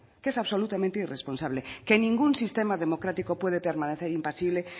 que es absolutamente irresponsable que ningún sistema democrático puede permanecer impasible